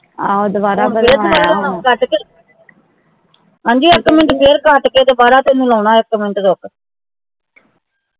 ਹਾਂ ਉਹ ਦੋਬਾਰਾ ਬਣਵਾਇਆ ਹਾ ਹੁਣ ਫੇਰ ਦੋਬਾਰਾ ਹੁਣ ਕੱਟਕੇ ਹਾਂ ਜੀ ਇਕ minute ਫੇਰ ਕਾਟਕੇ ਦੋਬਾਰਾ ਤੈਨੂੰ ਲਾਉਣਾ ਹੈ ਇਕ minute ਰੁਕ